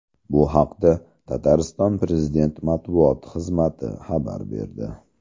Bu haqda Tatariston prezident matbuot xizmati xabar berdi .